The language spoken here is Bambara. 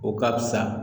O ka fisa